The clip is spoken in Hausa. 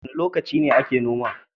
Wane lokaci ake noma?